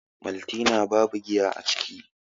maltina babu giya a ciki